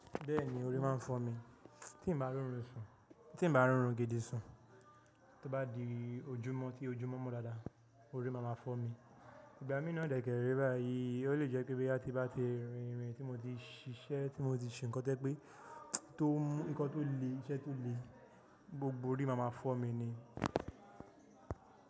Bẹ́ẹ̀ni orí máa ń fọ́ mi, tí n bá roorun gidi sùn, tí ó bá di ojúmọ́ tí ojúmọ́ mo dáadáa, orí máa ma fọ́ mi. Ìgbà mí náà dedẹ̀ rẹ́ báyìí, ó lè jẹ́ pé boya ti bá ti rin ìrìn tí mo ti ṣiṣẹ́, tí mo ti ṣe nǹkan to jẹ́ pé, tó mú nǹkan tó le iṣẹ́ tó le, gbogbo orí máa ma fọ́ mi ni.